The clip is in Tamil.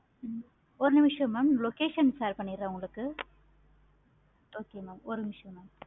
ஹம் ஒரு நிமிஷம் mam location share பண்ணிறேன் உங்களுக்கு